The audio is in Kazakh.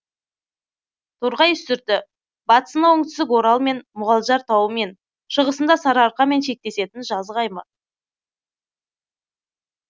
торғай үстірті батысында оңтүстік орал мен мұғалжар тауымен шығысында сарыарқамен шектесетін жазық аймақ